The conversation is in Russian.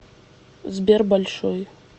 сбер большой